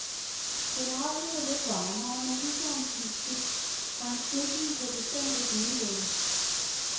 Generelt er det lidt varmere, men ligeså omskifteligt, og en snebyge kan bestemt ikke udelukkes.